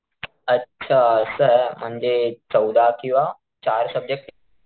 अच्छा असं म्हणजे चौदा किंवा चार सबजेक्ट,